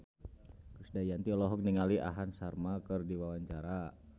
Krisdayanti olohok ningali Aham Sharma keur diwawancara